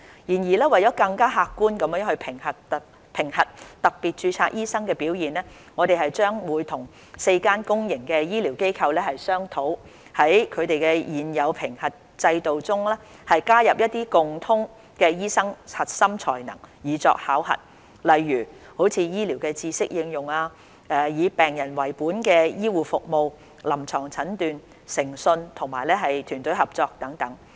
然而，為了更客觀地評核特別註冊醫生的表現，我們將與4間公營醫療機構商討，在他們現有的評核制度中，加入一些共通的醫生核心才能以作考核，例如醫療知識應用、以病人為本的醫護服務、臨床診斷、誠信和團隊合作等。